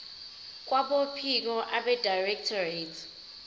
kwabophiko abedirectorate ye